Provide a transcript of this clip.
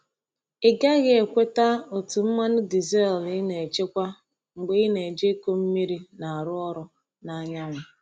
Ị gaghị ekweta otú mmanụ diesel ị na-echekwa mgbe ị na-eji ịkụ mmiri na-arụ ọrụ na anyanwụ.